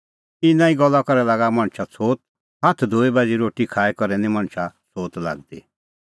इना ई गल्ला करै लागा मणछा छ़ोत हाथा धोऐ बाझ़ी रोटी खाई करै निं मणछा छ़ोत लागदी